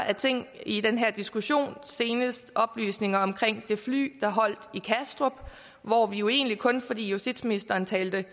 af ting i den her diskussion senest oplysninger om det fly der holdt i kastrup hvor vi jo egentlig kun fordi justitsministeren talte